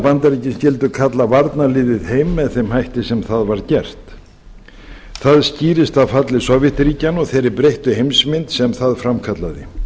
bandaríkin skyldu kalla varnarliðið heim með þeim hætti sem það var gert það skýrist af falli sovétríkjanna og þeirri breyttu heimsmynd sem það framkallaði